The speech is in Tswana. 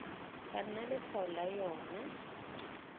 ka nna letshwao la yona